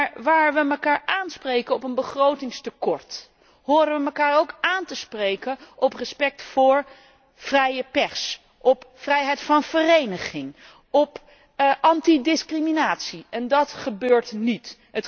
Maar waar we mekaar aanspreken op een begrotingstekort, horen we mekaar ook aan te spreken op respect voor vrije pers, op vrijheid van vereniging, op antidiscriminatie en dat gebeurt niet.